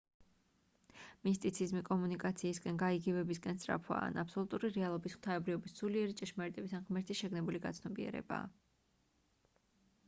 მისტიციზმი კომუნიკაციისკენ გაიგივებისკენ სწრაფვაა ან აბსოლუტური რეალობის ღვთაებრიობის სულიერი ჭეშმარიტების ან ღმერთის შეგნებული გაცნობიერებაა